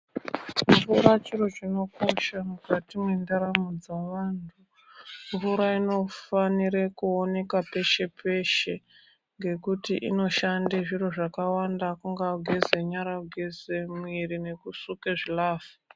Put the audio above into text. Apana chiro chinokosha mukati mwendaramo dzevantu mvura inofanira kuoneka peshe peshe, ngekuti inoshanda zviro zvakawanda kungaa kugeza nyara kugeza mwiri nekusuka zvilavha.